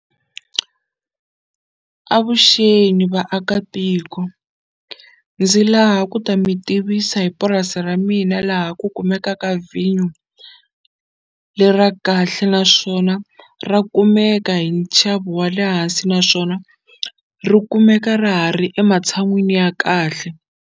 Avuxeni vaakatiko ndzi laha ku ta mi tivisa hi purasi ra mina laha ku kumekaka vhinyo le ra kahle naswona ra kumeka hi nxavo wa le hansi naswona ri kumeka ra ha ri ematshan'wini ya kahle.